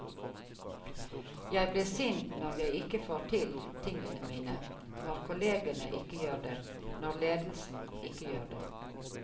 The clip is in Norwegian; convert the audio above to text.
Jeg blir sint når jeg ikke får til tingene mine, når kollegene ikke gjør det, når ledelsen ikke gjør det.